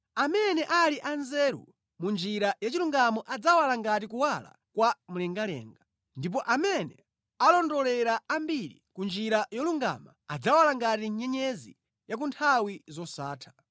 Amene ali anzeru mʼnjira ya chilungamo adzawala ngati kuwala kwa mlengalenga, ndipo amene alondolera ambiri ku njira yolungama, adzawala ngati nyenyezi ku nthawi zosatha.